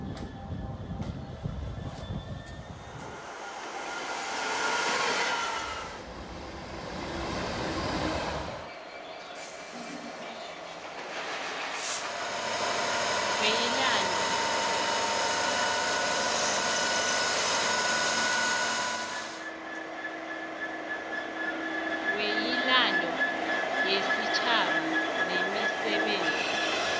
weyilando wesitjhaba nemisebenzi